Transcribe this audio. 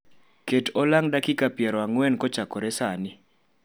ket olang' dakika pier ang'wen kachakore sani